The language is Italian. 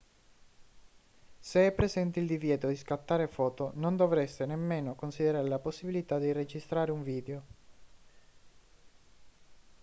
se è presente il divieto di scattare foto non dovreste nemmeno considerare la possibilità di registrare un video